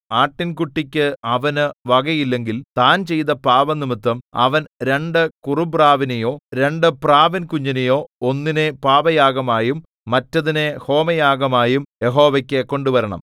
ആട്ടിൻകുട്ടിക്ക് അവനു വകയില്ലെങ്കിൽ താൻ ചെയ്ത പാപംനിമിത്തം അവൻ രണ്ടു കുറുപ്രാവിനെയോ രണ്ടു പ്രാവിൻകുഞ്ഞിനെയോ ഒന്നിനെ പാപയാഗമായും മറ്റതിനെ ഹോമയാഗമായും യഹോവയ്ക്കു കൊണ്ടുവരണം